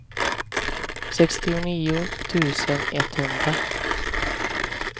sextionio tusen etthundra